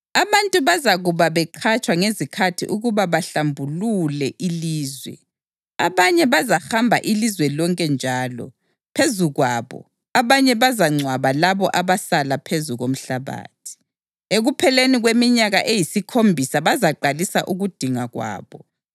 Abantu bazakuba beqhatshwa ngezikhathi ukuba bahlambulule ilizwe. Abanye bazahamba ilizwe lonke njalo, phezu kwabo, abanye bazangcwaba labo abasala phezu komhlabathi. Ekupheleni kweminyaka eyisikhombisa bazaqalisa ukudinga kwabo.